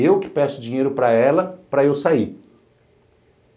Eu que peço dinheiro para ela para eu sair.